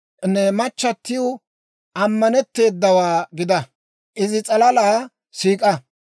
Ne machchatiw amaneteedawaa gida; izi s'alala siik'a.